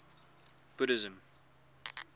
buddhism